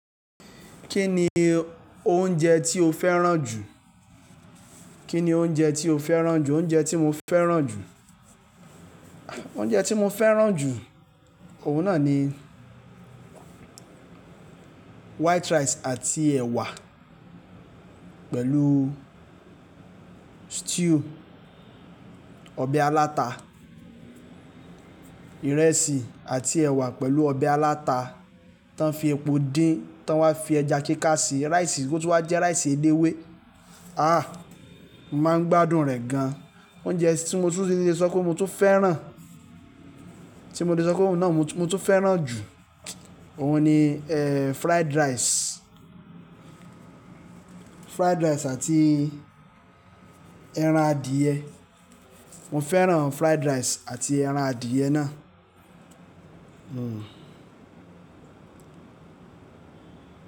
Kí ni oúnjẹ tí o fẹ́ràn jù? Kí ni oúnjẹ tí o fẹ́ràn jù? Oúnjẹ tí mo fẹ́ràn jù, oúnjẹ tí mo fẹ́ràn jù, òun náà ni white rice àti ẹ̀wà pẹ̀lú stew, ọbẹ̀ aláta. Ìrẹsì àti ẹ̀wà pẹ̀lú ọbẹ̀ aláta tan fi epo dín, tań wá fi ẹja kíká se rice, kó tun wá jẹ́ rice ẹlẹ́wé. Ah! Mo máa ń gbádùn rẹ̀ gan-an. Oúnjẹ tí mo tún lè sọ pé mo tún fẹ́ràn, tí mo ti sọ pé òun náà mo tún fẹ́ràn jù, òun ni, eh, fried rice. Fried rice àti ẹran adìẹ. Mo fẹ́ràn fried rice àti ẹran adìẹ náà. Hmm.